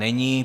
Není.